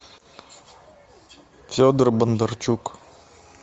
федор бондарчук